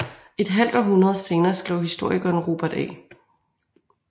Et halvt århundrede senere skrev historikeren Robert A